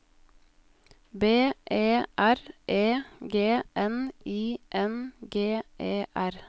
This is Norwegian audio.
B E R E G N I N G E R